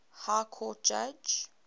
high court judge